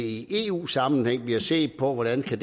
i eu sammenhæng bliver set på hvordan det kan